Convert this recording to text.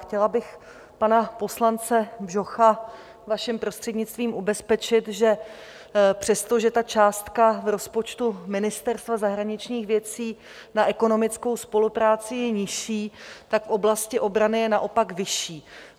Chtěla bych pana poslance Bžocha, vaším prostřednictvím, ubezpečit, že přestože ta částka v rozpočtu Ministerstva zahraničních věcí na ekonomickou spolupráci je nižší, tak v oblasti obrany je naopak vyšší.